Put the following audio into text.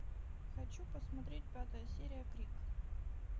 хочу посмотреть пятая серия крик